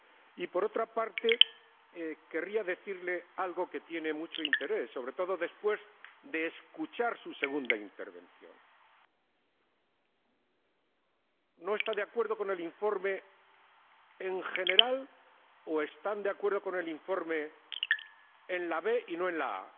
Y, por otra parte, querría decirle algo que tiene mucho interés, sobre todo después de escuchar su segunda intervención. ¿No está de acuerdo con el informe en general o está de acuerdo con el informe en la b y no en la a?